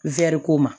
ko ma